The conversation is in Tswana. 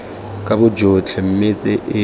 ka bogotlhe mme tse e